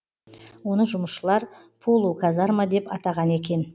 оны жұмысшылар полуказарма деп атаған екен